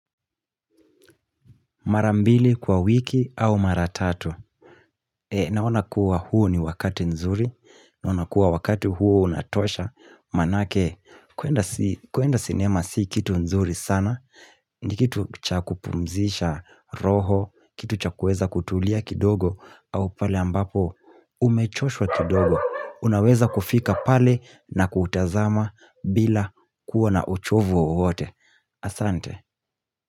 Mara mbili kwa wiki au mara tatu. Naona kuwa huu ni wakati nzuri. Naona kuwa wakati huu unatosha. Manake kuenda si kuenda sinema si kitu nzuri sana. Ni kitu cha kupumzisha roho. Kitu cha kueza kutulia kidogo. Au pale ambapo umechoshwa kidogo. Unaweza kufika pale na kutazama bila kuwa na uchovu wowote. Asante.